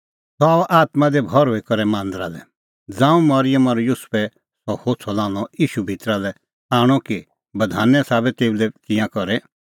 सह आअ आत्मां दी भर्हुई करै मांदरा लै ज़ांऊं मरिअम और युसुफै सह होछ़अ लान्हअ ईशू भितरा लै आणअ कि बधाने साबै तेऊ लै तिंयां करे